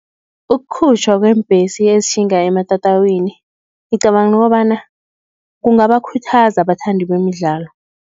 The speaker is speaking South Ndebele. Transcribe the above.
Ukukhutjhwa kweembhesi ezitjhinga ematatawini, ngicabanga kobana, kungabakhuthaza abathandi bemidlalo.